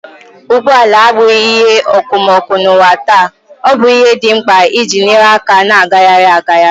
Ụgbọ ala abụghị ihe okomoko n'ụwa taa, ọ bụ ihe dị mkpa iji nyere aka na-agagharị agagharị.